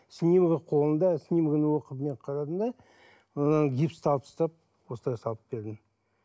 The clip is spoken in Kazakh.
снимогы қолында снимогын оқып мен қарадым да содан гипсті алып тастап осылай салып бердім